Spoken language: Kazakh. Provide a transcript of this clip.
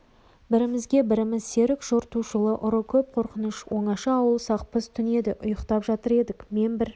бірімізге-біріміз серік жортуылшы ұры көп қорқыныш оңаша ауыл сақпыз түн еді ұйықтап жатыр едік мен бір